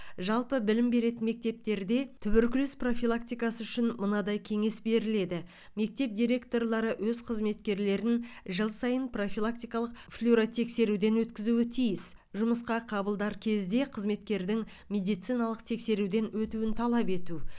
жалпы білім беретін мектептерде туберкулез профилактикасы үшін мынадай кеңес беріледі мектеп директорлары өз қызметкерлерін жыл сайын профилактикалық флюоротексеруден өткізуі тиіс жұмысқа қабылдар кезде қызметкердің медициналық тексеруден өтуін талап ету